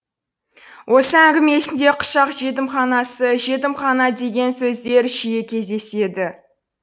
осы әңгімесінде құшақ жетімханасы жетімхана деген сөздер жиі кездеседі